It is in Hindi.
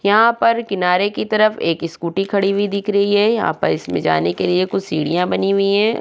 यहाँ पे किनारे की तरफ एक स्कूटी खड़ी हुई दिख रही है यहाँ पर इसमें जाने के लिए कुछ सीढ़ियां बनी हुई हैं।